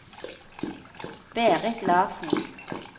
Berit Larssen